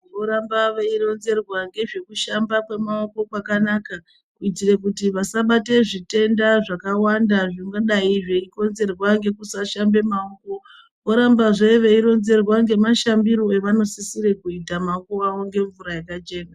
Voramba veironzerwa ngezvekushamba kwemaoko kwakanaka kuitire kuti vasabate zvitenda zvakawanda zvingadai zveikonzerwa ngekusashamba maoko vorambazve veironzerwa ngemashambiro evanasisire kuita maoko avo ngemvura yakachena.